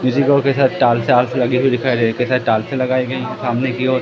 इसी के साथ टॉर्च आर्च लगी हुई दिखाई दे रही है इसके साथ टॉर्च लगाई गई हैं सामने की ओर--